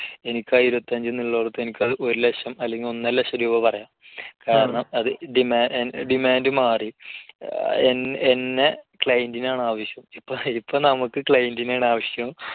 എനിക്ക് ആ ഇരുപത്തഞ്ച് എന്നുള്ളിടത്ത് ഒരു ലക്ഷം അല്ലെങ്കിൽ ഒന്നരലക്ഷം രൂപ പറയാം. അഹ് അത് demand മാറി. ഏർ എന്നെ client നാണാവശ്യം. ശരിക്കും നമുക്ക് client നെയാണാവശ്യം